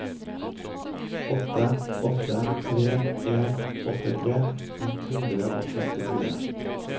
åtte åtte tre en åttitre ett hundre og femtifire